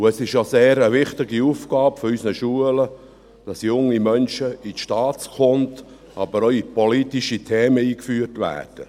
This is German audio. Und es ist auch eine sehr wichtige Aufgabe unserer Schulen, junge Menschen in die Staatskunde, aber auch in politische Themen einzuführen.